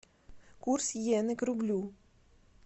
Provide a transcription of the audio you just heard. курс йены к рублю